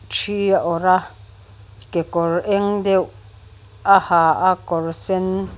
ṭhi a awrh a kekawr eng deuh a ha a kawr sen--